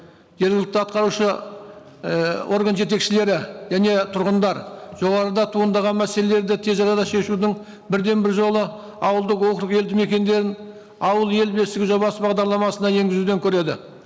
жергілікті атқарушы ііі орган жетекшілері және тұрғындар жоғарыда туындаған мәселелерді тез арада шешудің бірден бір жолы ауылдық округ елді мекендерін ауыл ел бесігі жобасы бағдарламасына енгізуден көреді